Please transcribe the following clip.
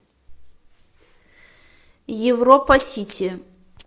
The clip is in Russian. европа сити